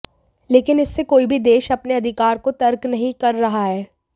लेकिन इससे कोई भी देश अपने अधिकार को तर्क नहीं कर रहा है